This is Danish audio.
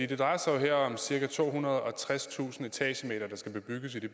det drejer sig jo her om cirka tohundrede og tredstusind etagemeter der skal bebygges i det